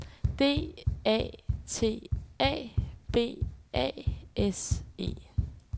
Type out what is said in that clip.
D A T A B A S E